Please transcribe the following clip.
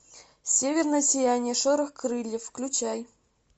северное сияние шорох крыльев включай